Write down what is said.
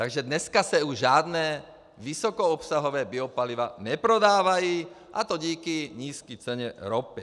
Takže dneska se už žádná vysokoobsahová biopaliva neprodávají, a to díky nízké ceně ropy.